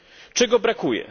Czego brakuje?